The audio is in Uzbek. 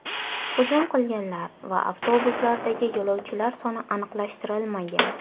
Hujum qilganlar va avtobuslardagi yo‘lovchilar soni aniqlashtirilmagan.